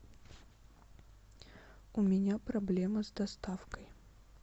у меня проблема с доставкой